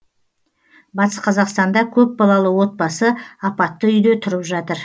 батыс қазақстанда көпбалалы отбасы апатты үйде тұрып жатыр